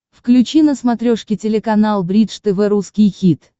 включи на смотрешке телеканал бридж тв русский хит